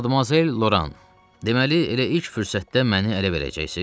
Madmazel Loran, deməli elə ilk fürsətdə məni ələ verəcəksiz?